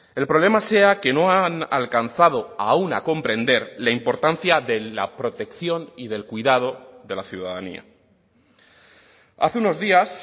el problema sea que no han alcanzado aún a comprender la importancia de la protección y del cuidado de la ciudadanía hace unos días